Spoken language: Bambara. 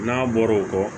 N'a bɔra o kɔ